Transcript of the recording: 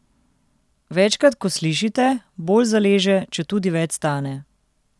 Večkrat ko slišite, bolj zaleže, četudi več stane.